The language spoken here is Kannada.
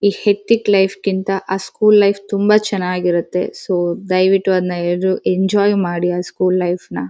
ಈ ಹೆಕ್ಟಿಕ್ ಲೈಫ್ -ಕಿಂತ ಸ್ಕೂಲ್ ತುಂಬ ಚೆನ್ನಾಗಿರತ್ತೆ ಸೊ ದಯವಿಟ್ಟು ಅದ್ನ ಎಲ್ರು ಅದ್ನ ಎಂಜಾಯ್ ಮಾಡಿ ಸ್ಕೂಲ್ ಲೈಫ್ ನ.